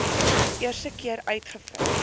eerste keer uitgevind